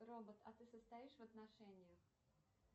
робот а ты состоишь в отношениях